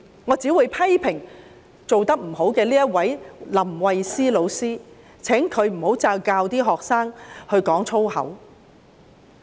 我只會批評這位做得不好的林慧思老師，請她不要再教導學生說粗言穢語。